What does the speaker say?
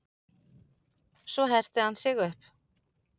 Svo herti hann sig upp.